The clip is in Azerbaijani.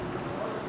Yox, çəkil.